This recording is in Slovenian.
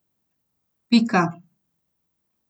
Pika.